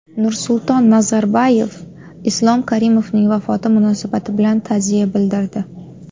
Nursulton Nazarboyev Islom Karimovning vafoti munosabati bilan ta’ziya bildirdi.